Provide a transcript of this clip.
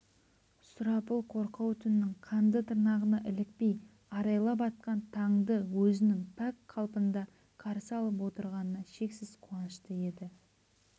сұрапыл қорқау түннің қанды тырнағына ілікпей арайлап атқан таңды өзінің пәк қалпында қарсы алып отырғанына шексіз қуанышты еді